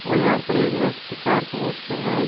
और यहां पर एक व्यक्ति कार वाश कर रहा है।